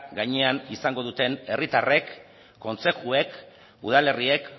gainean izango duten herritarrek kontzejuek udalerriek